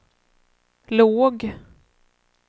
låg